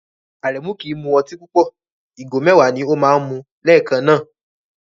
Aremu kì í mu ọtí púpọ̀, ìgò mẹ́wàá ni ó máa ń mu lẹ́ẹ̀kan náà.